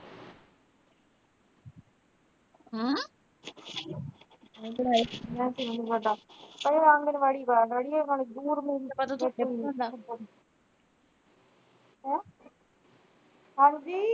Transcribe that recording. ਹਾਂ ਨਾ ਮੈਨੂੰ ਨਹੀਂ ਪਤਾ ਹੈਂ ਹਾਂਜੀ।